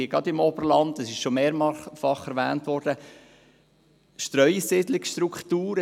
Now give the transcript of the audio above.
Gerade im Berner Oberland gibt es Streusiedlungsstrukturen.